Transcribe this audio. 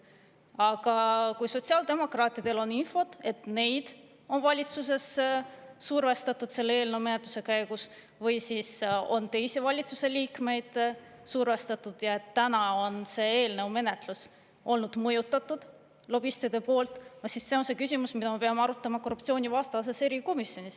Aga kui sotsiaaldemokraatidel on infot, et neid on valitsuses survestatud selle eelnõu menetluse käigus või siis on teisi valitsusliikmeid survestatud ja et täna on see eelnõu menetlus olnud mõjutatud lobistide poolt, siis see on see küsimus, mida me peame arutama korruptsioonivastases erikomisjonis.